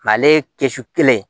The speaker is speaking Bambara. ale kɛsu kelen ye